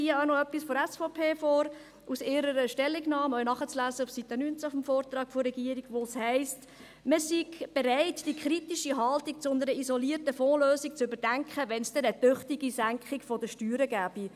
Ich lese hier auch noch etwas von der SVP aus ihrer Stellungnahme vor – auch nachzulesen auf Seite 19 des Vortrags der Regierung –, wo es heisst, man sei bereit, die kritische Haltung zu einer isolierten Fondslösung zu überdenken, wenn es denn eine tüchtige Senkung der Steuern gebe.